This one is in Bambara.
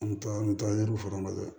An bɛ taa an bɛ taa yiriw fara nɔfɛ